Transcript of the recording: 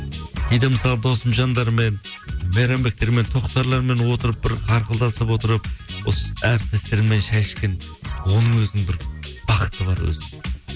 кейде мысалы досымжандармен мейрамбектермен тоқтарлармен отырып бір ақылдасып отырып осы әріптестермен шай ішкен оның өзінің бір бақыты бар өзі